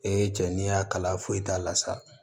Ee cɛ n'i y'a kala foyi t'a la sa